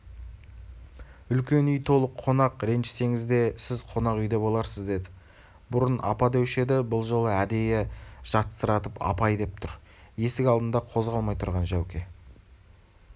үлкен үй толы қонақ ренжісеңіз де сіз қонақ үйде боларсыз деді бұрын апа деуші еді бұл жолы әдейі жатсыратып апай деп тұр есік алдында қозғалмай тұрған жәуке